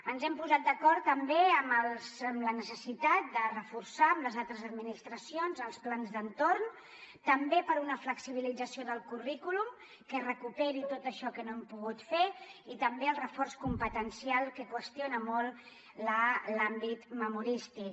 ens hem posat d’acord també amb la necessitat de reforçar amb les altres administracions els plans d’entorn també per una flexibilització del currículum que recuperi tot això que no hem pogut fer i també el reforç competencial que qüestio na molt l’àmbit memorístic